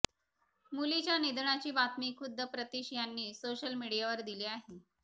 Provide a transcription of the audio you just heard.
मुलीच्या निधनाची बातमी खुद्द प्रतीश यांनी सोशल मीडियावर दिली आहे